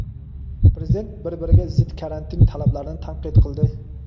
Prezident bir-biriga zid karantin talablarini tanqid qildi.